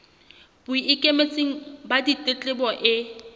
bo ikemetseng ba ditletlebo e